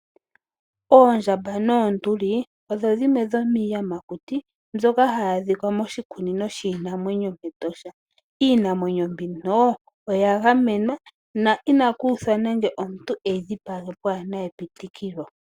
Oondjamba noonduli odho dhimwe dhomiiyamakuti mbyoka hayi adhika moshikunino shiinamwenyo mEtosha. Iinamwenyo mbino oya gamenwa na inaku uthwa nande omuntu e yi dhipage pwaana epitikilo.